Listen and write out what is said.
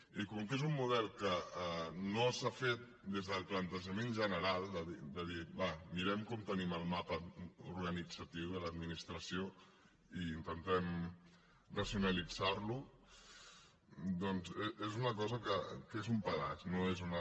i com que és un model que no s’ha fet des del plantejament general de dir va mirem com tenim el mapa organitzatiu de l’administració i intentem racionalitzar lo doncs és una cosa que és un pedaç no és una